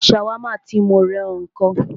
Ṣàwámà tí mó rán ọ ńkọ́?